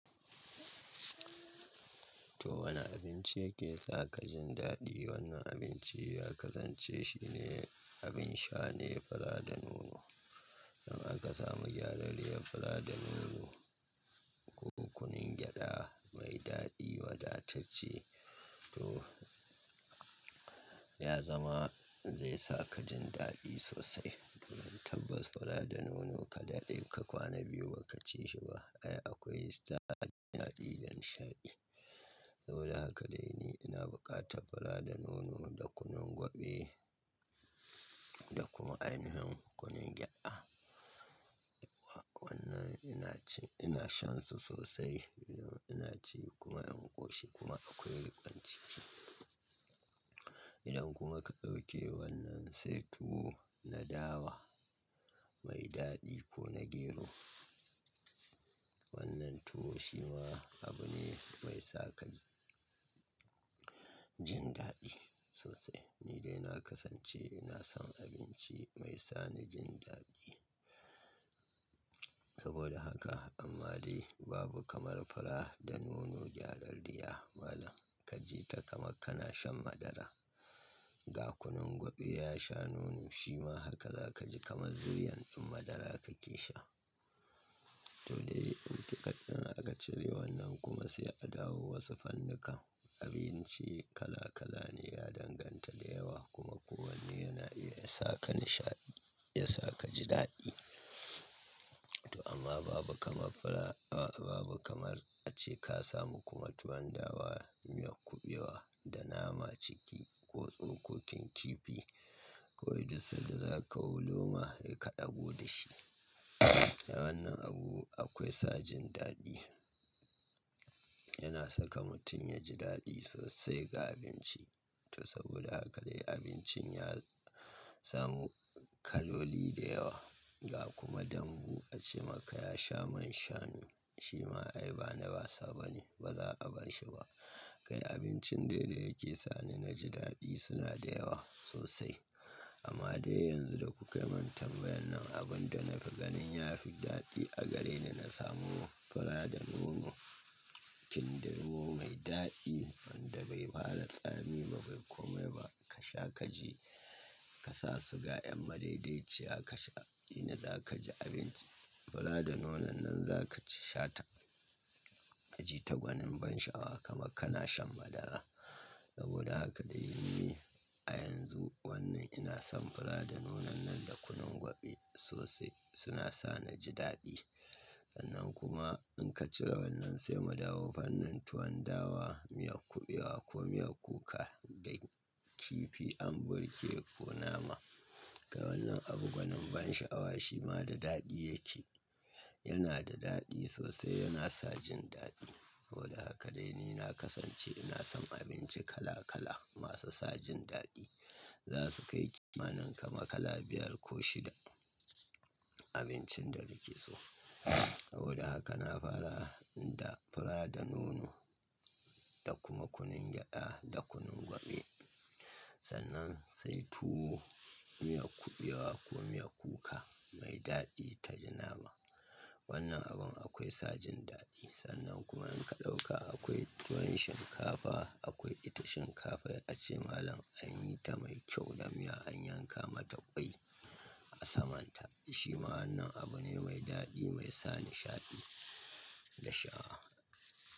To wani abinci yake sa ka jin daɗi? Wannan abinci ya kasance shine abin sha ne fura da nono. Idan aka samu gyarariyar fura da nono ko kunun gyaɗa mai daɗi wadatacce, to ya zama zai sa ka jin daɗi sosai. Tabbas fura da nono ka daɗe ka kwana biyu ba ka ci shi ba, ai akwai sa jin daɗi da nishaɗi. Saboda haka dai ni ina bukata fura da nono da kunun gwaɓe da kuma ainihin kunun gyaɗa. Wa wannan ina ci-- ina shan su sosai idan ina ci kuma yan koshi kuma akwai rikon ciki. Idan kuma ka ɗauke wannan sai tuwo na dawa mai daɗi ko na gero. Wannan tuwo shi ma abu ne mai sa ka ji daɗi sosai. Ni dai na kasance ina son abinci mai sa ni jin daɗi. Saboda haka amma dai babu kamar fura da nono gyarariyar malam ka ji taka maka kana shan madara. Ga kunun gwaɓe ya sha nono, shi ma haka za ka ji kamar zuri'an ɗin madara ka ke sha. To dai, wutar ɗin aka cire wannan kuma sai a dawo wasu fanninka. Abinci kala kala ne ya danganta da yawa kuma kowanne yana iya ya sa ka nishaɗi, ya sa ka ji daɗi. To amma babu kamar fura-- a babu kamar ace ka samu kuma tuwon dawa, miyar kuɓewa da nama ciki ko tsokokin kifi ko gizo da za ka wulo ma ka ɗabo da shi. Wannan abu akwai sa jin daɗi. Yana saka mutum ya ji daɗi sosai ga abinci. To saboda haka dai abincin ya samu kaloli da yawa ga kuma dambu ace maka ya sha man shanu. Shi ma ai bana basa bane, ba za a bar shi ba. Kai abincin dai da yake sa ni na ji daɗi suna da yawa sosai. Amma dai yanzu da kuka manta bayan nan abin da na fi ganin ya fi daɗi a gare ni na samu fura da nono, kindirmo mai daɗi wanda bai hala tsami ba bai kome ba. Ka sha ka ji-- ka sa suga yan madaidaiciya ka sha. Ina za ka ji abinci. Fura da nonon nan za ka ci shatar. Ka ji tagwanin ban sha'awa kama kana shan madara. Saboda haka dai ni a yanzu wannan ina son fura da nonon nan da kunun gwaɓe sosai suna sa ni ji daɗi. Wannan kuma in ka cire wannan sai mu dawo fannin tuwon dawa, miyar kuɓewa ko miyar kuka da kifi an burge ko nama. Ga wannan abu gwanin ban sha'awa shi ma da daɗi yake. Yana da daɗi sosai yana sa jin daɗi. Saboda haka dai ni na kasance ina son abinci kala kala masu sa jin daɗi. Za su kai kimanin kama kala biyar ko shida abincin da nike su. Saboda haka na fara da fura da nono da kuma kunun gyaɗa da kunun gwaɓe. Sannan sai tuwo, miyar kuɓewa ko miyar kuka mai daɗi ta ji nama. Wannan abun akwai sa jin daɗi. Sannan kuma in ka ɗauka akwai tuwon shinkafa, akwai ita shinkafa a ce malam an yi ta mai kyau da miya an yanka mata ƙwai a saman ta. Shi ma wannan abu ne mai daɗi mai sa nishaɗi da sha'awa.